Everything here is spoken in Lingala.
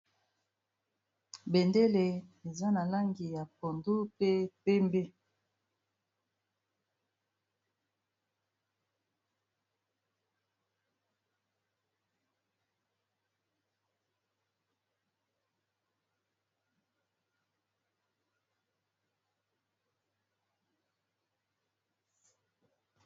Bendele eza na langi ya pondu mpe pembe.